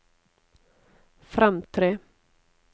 fremtre